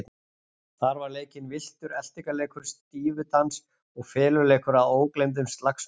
Þar var leikinn villtur eltingaleikur, stífudans og feluleikur að ógleymdum slagsmálum.